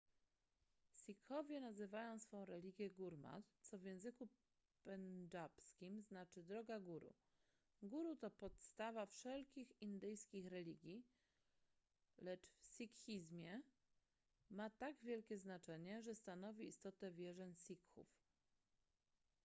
sikhowie nazywają swą religię gurmat co w języku pendżabskim znaczy droga guru guru to podstawa wszelkich indyjskich religii lecz w sikhizmie ma tak wielkie znaczenie że stanowi istotę wierzeń sikhów